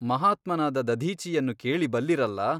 ಮಹಾತ್ಮನಾದ ದಧೀಚಿಯನ್ನು ಕೇಳಿ ಬಲ್ಲಿರಲ್ಲಾ ?